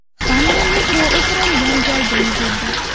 Hamma metro o‘pirilgan joyga yugurdi.